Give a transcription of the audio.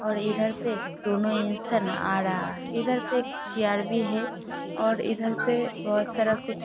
और इधर पे दोनों इंसान आ रहा है इधर पे चेयार भी है और इधर पर बहुत सारा कुछ --